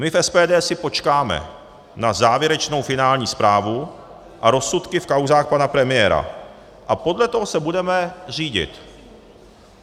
My v SPD si počkáme na závěrečnou, finální zprávu a rozsudky v kauzách pana premiéra a podle toho se budeme řídit.